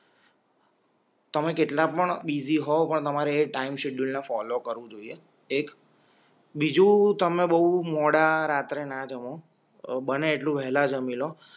તમે કેટલા પણ બિઝી હોઉં પણ તમારે એ ટાઇમ શેડ્યૂલને ફોલો કરવું જોઈએ એક બીજું તમે બહુ મોડી રાત્રે ના જમો અ બને એટલું વેલા જામી લો